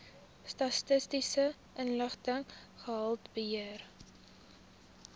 statistiese inligting gehaltebeheer